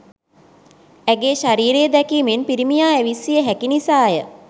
ඇගේ ශරීරය දැකීමෙන් පිරිමියා ඇවිස්සිය හැකි නිසා ය.